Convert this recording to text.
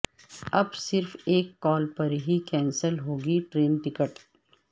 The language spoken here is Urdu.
اب صرف ایک کال پر ہی کینسل ہوگی ٹرین ٹکٹ